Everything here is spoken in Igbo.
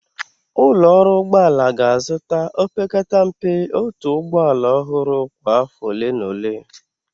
Ụlọ ọrụ ụgbọ ala ga-azụta, opekata mpe otu ụgbọ ala ọhụrụ kwa afọ ole na ole.